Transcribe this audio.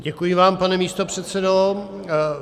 Děkuji vám, pane místopředsedo.